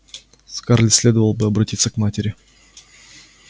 скарлетт следовало бы обратиться к матери